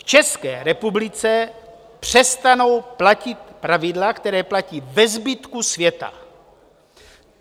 V České republice přestanou platit pravidla, která platí ve zbytku světa.